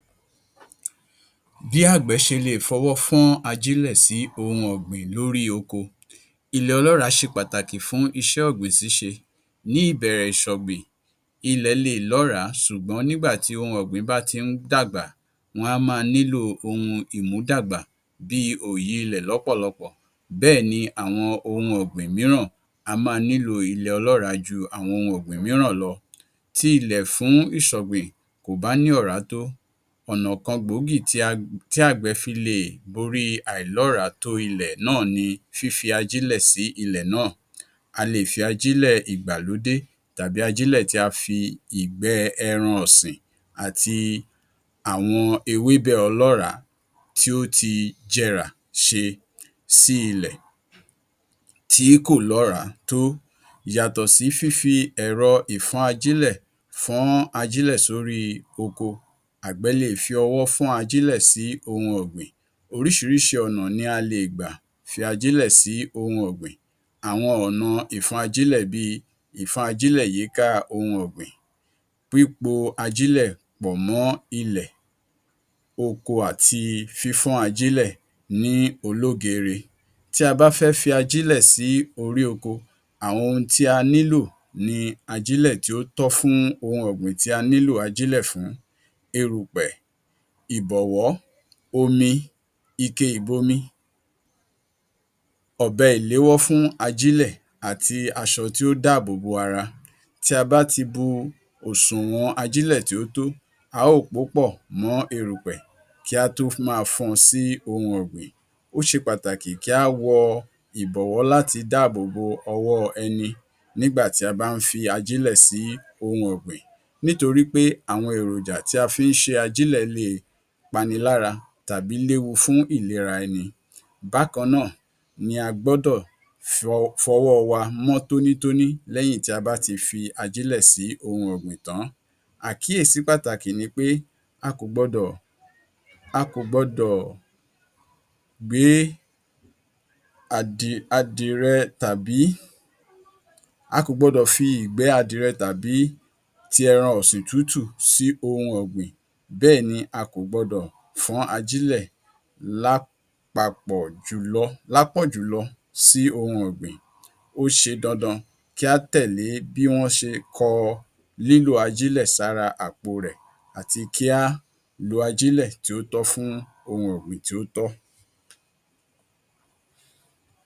Bí àgbẹ̀ ṣe lè fọwọ́ fọ́n ajílẹ̀ sí ohun ọ̀gbìn lórí oko. Ilẹ̀ ọlọ́ràá ṣe pàtàkì fún iṣẹ́ ọ̀gbìn ṣíṣe. Ní ìbẹ̀rẹ̀ ìṣọ̀gbìn, ilẹ̀ leè lọ́ràá ṣùgbọ́n nígbà tí ohun ọ̀gbìn bá ti ń dàgbà, wọ́n á máa níloo ohun ìmúdàgbà bíi òyiilẹ̀ lọ́pọ̀lọpọ̀ bẹ́ẹ̀ ni àwọn ohun ọ̀gbìn mìíràn á máa nílò ilẹ̀ ọlọ́ràá ju àwọn ohun ọ̀gbìn mìíràn lọ. Tí ilẹ̀ fún ìṣọ̀gbìn kò bá ní ọ̀ràá tó, ọ̀nà kan gbóògì tí a ti àgbẹ̀ fi lè borí àìlọ́ràátó-ilẹ̀ náà ni fífi ajílẹ̀ sí ilẹ̀ náà. A lè fi ajílẹ̀ ìgbàlódé tàbí ajílẹ̀ tí a fi ẹ ẹran ọ̀sìn àti àwọn ewébẹ̀ ọlọ́ràá tí ó ti jẹrà ṣe sí ilẹ̀ tí kò lọ́ràá tó. Yàtọ̀ sí fífi ẹ̀rọ ìfọ́n ajílẹ̀ fọ́n ajílẹ̀ sí oríi oko, àgbẹ̀ lè fọwọ́ fọ́n ajílè sí ohun ọ̀gbìn. Oríṣiríṣi ọ̀nà ni a lè gbà fi ajílẹ̀ sí ohun ọ̀gbìn. Àwọn ònà ìfọ́n ajílẹ̀ bíi ìfọ́n ajílẹ̀ yíká ohun ọ̀gbìn, pípo ajílẹ̀ pọ̀ mọ́ ilẹ̀, oko àti fífọ́n ajílẹ̀ ní ológere. Tí a bá fẹ́ fi ajílẹ̀ sí orí oko, àwọn ohun tí a nílò ni ajílẹ̀ tí ó tọ́ fún ohun ọ̀gbìn tí a nílò ajílẹ̀ fùn-ún, erùpẹ̀, ìbọ̀wọ́, omi, ike ìbomi, ọ̀bẹ ìléwọ́ fún ajílẹ̀ àti aṣọ tí ó dáàbòbò ara. Tí a bá ti bu òṣùwọ̀n ajílẹ̀ tí ó tó, a ó pòópọ̀ mọ́ erùpẹ̀ kí a tó máa fọn sí ohun ọ̀gbìn. Ó ṣe pàtàkì kí á wọ ìbọ̀wọ́ láti dáàbòbò ọwọ́ eni nígbà tí a bá ń fi ajílẹ̀ sí ohun ọ̀gbìn. Nítorí pé àwọn èròjà tí a fi ń ṣe ajílẹ̀ lé è panilára tàbí léwu fún ìlera ẹni. Bákan náà ni a gbọ́dọ̀ fọ fọwọ́ọ wa mọ́ tónítóní lẹ́yìn tí a bá ti fi ajílẹ̀ sí ohun ọ̀gbìn tàn-án. Àkíyèsí pàtàkì ni í pé a kò gbọ a kò gbọdọ̀ gbé adì àdìrẹ tàbí a kò gbọdọ̀ fi ìgbẹ́ adìrẹ tàbí ti ẹran ọ̀sìn tútù sí ohun ọ̀gbìn. Bẹ́ẹ̀ ni a kò gbọdọ̀ fọ́n ajílẹ̀ lápaapọ̀ jùlọ, lápọ̀jùlọ sí ohun ọ̀gbìn. Ó ṣe dandan kí á tẹ̀lé bí wọ́n ṣe kọ lílò ajílẹ̀ sára àpòo rẹ̀ àti kí á lo ajílẹ̀ tí ó tọ́ fún ohun ọ̀gbìn tí ó tọ́.